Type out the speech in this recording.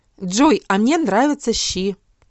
джой а мне нравятся щи